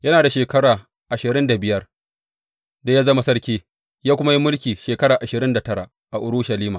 Yana da shekara ashirin da biyar da ya zama sarki, ya kuma yi mulki shekara ashirin da tara a Urushalima.